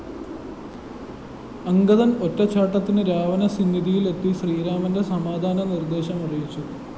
അംഗദന്‍ ഒറ്റച്ചാട്ടത്തിന് രാവണ സിന്നിധിയിലെത്തി ശ്രീരാമന്റെ സമാധാന നിര്‍ദേശം അറിയിച്ചു